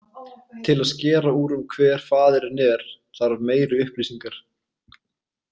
Til að skera úr um hver faðirinn er þarf meiri upplýsingar.